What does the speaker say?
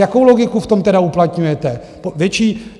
Jakou logiku v tom tedy uplatňujete?